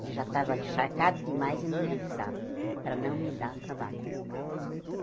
Ele já estava encharcado demais e não me avisava, para não me dar trabalho.